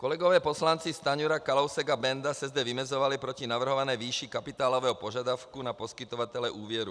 Kolegové poslanci Stanjura, Kalousek a Benda se zde vymezovali proti navrhované výši kapitálového požadavku na poskytovatele úvěru.